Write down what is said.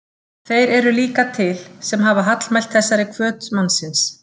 Þeir eru líka til, sem hafa hallmælt þessari hvöt mannsins.